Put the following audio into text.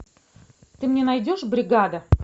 ты мне найдешь бригада